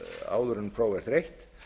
áður en próf er þreytt